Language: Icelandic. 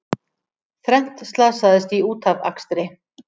Þrennt slasaðist í útafakstri